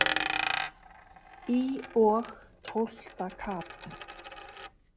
Í og tólfta kap.